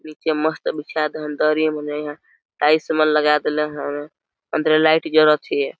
निचे मस्त बिछा देन दरी मने इहा टाइल्स मन लगा देल है अंदरे लाइट जालत है।